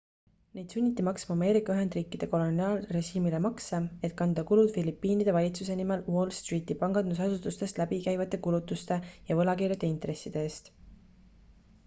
neid sunniti maksma ameerika ühendriikide koloniaalrežiimile makse et kanda kulud filipiinide valitsuse nimel wall streeti pangandusasutustest läbi käivate kulutuste ja võlakirjade intresside eest